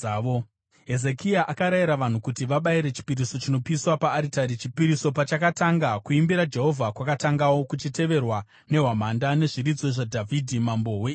Hezekia akarayira vanhu kuti vabayire chipiriso chinopiswa paaritari. Chipiriso pachakatanga, kuimbira Jehovha kwakatangawo, kuchiteverwa nehwamanda nezviridzwa zvaDhavhidhi mambo weIsraeri.